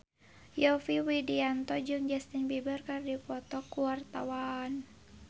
Yovie Widianto jeung Justin Beiber keur dipoto ku wartawan